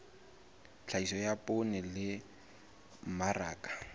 tlhahiso ya poone le mmaraka